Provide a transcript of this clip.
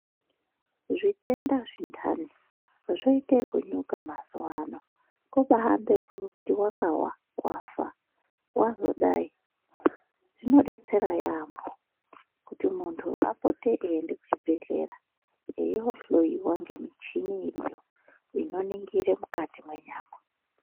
Zvitenda zvintani zvoite ekunyuka mazuwaano ,kubaambe ekuti wakawa, wafa, wazodai. Zvinodetsera yaampho ,kuti muntu apote eiende kuchibhedhlera, eiohloiwa ngemichinini iriyo ,inoningire mukati mwenyama.